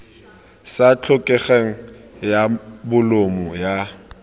sa tlhokegeng ya bolumo ya